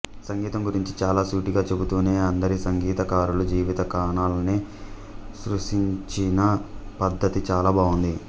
సంగీతం గురించి చాలా సూటిగా చెబుతూనే అందరి సంగీతకారుల జీవిత కోణాల్ని స్పృశించిన పద్ధతి చాలా బావుంది